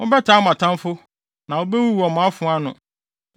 Mobɛtaa mo atamfo; na wobewuwu wɔ mo afoa ano.